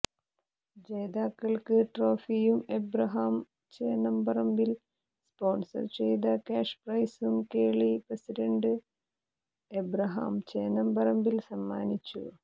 ജേതാക്കൾക്ക് ട്രോഫിയും ഏബ്രഹാം ചേന്നംപറമ്പിൽ സ്പോൺസർ ചെയ്ത കാഷ് പ്രൈസും കേളി പ്രസിഡന്റ് ഏബ്രഹാം ചേന്നംപറമ്പിൽ സമ്മാനിച്ചു